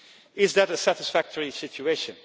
Is that a satisfactory situation?